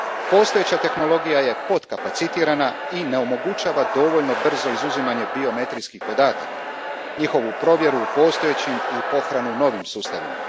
Postojeća tehnologija je potkapacitirana i ne omogućava dovoljno brzo izuzimanje biometrijskih podataka, njihovu provjeru u postojećim i pohranu u novim sustavima.